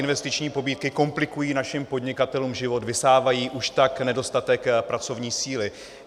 Investiční pobídky komplikují našim podnikatelům život, vysávají už tak nedostatek pracovní síly.